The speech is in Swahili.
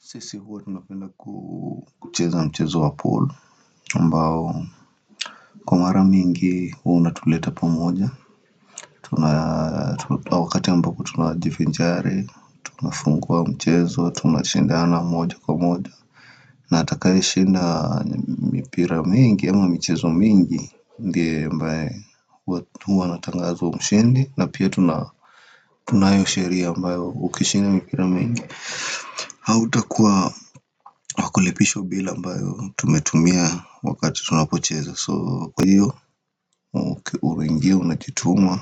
Sisi huwa tunapenda kucheza mchezo wa pool ambao Kwa mara mingi huwa unatuleta pamoja Tuna wakati ambapo tunajifinjari, tunafungua mchezo, tunashindana moja kwa moja na atakaeshinda mipira mingi ama michezo mingi ndiye ambaye huwa anatangazwa mshindi na pia tuna tunayosheria ambayo ukishinda mipira mingi hautakuwa pakulipishwa bill ambayo tumetumia wakati tunapocheza so kwa hiyo uingie unajituma